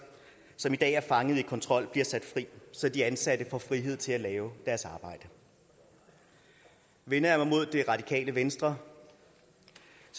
som i dag er fanget i kontrol bliver sat fri så de ansatte får frihed til at lave deres arbejde vender jeg mig mod det radikale venstre